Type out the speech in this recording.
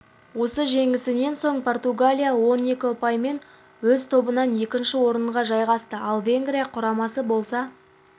осы жеңісінен соң португалия он екі ұпаймен өз тобында екінші орынға жайғасты ал венгрия құрамасы болса